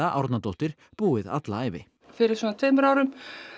Árnadóttir búið alla æfi fyrir svona tveimur árum